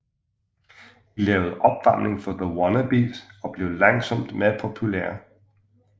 De lavede opvarming for The Wannabies og blev langsomt mere populære